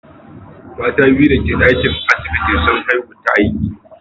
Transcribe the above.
Mata biyun dake dakin asibitin, sun haihu ta aiki.